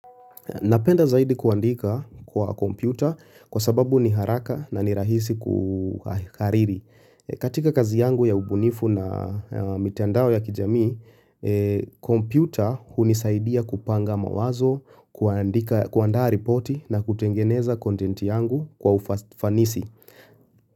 Napenda zaidi kuandika kwa kompyuta kwa sababu ni haraka na ni rahisi kuhariri. Katika kazi yangu ya ubunifu na mitandao ya kijami, kompyuta hunisaidia kupanga mawazo, kuandaa ripoti na kutengeneza kontenti yangu kwa ufanisi.